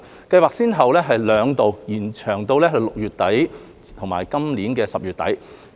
計劃先後兩度延長6個月至今年10月底。